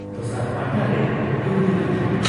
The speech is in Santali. ᱫᱚᱥᱟᱨ ᱯᱟᱦᱴᱟᱨᱮ ᱞᱩᱜᱽᱲᱤ ᱞᱟᱯᱚ ᱾